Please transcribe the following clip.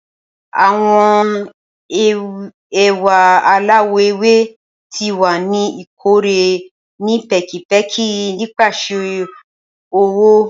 Awọn ewa alawọ ewe ti wa ni ikore ni pẹkipẹki nipasẹ ọwọ.